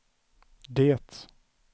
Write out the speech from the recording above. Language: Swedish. det